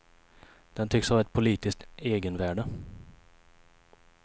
Den tycks ha ett politiskt egenvärde.